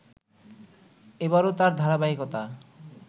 এবারো তার ধারাবাহিকতা